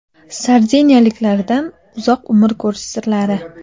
Sardiniyaliklardan uzoq umr ko‘rish sirlari.